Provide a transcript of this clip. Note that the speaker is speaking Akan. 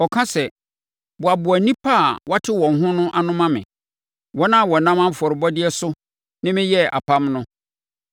Ɔka sɛ, “Boaboa nnipa a wɔate wɔn ho no ano ma me, wɔn a wɔnam afɔrebɔdeɛ so ne me yɛɛ apam no.”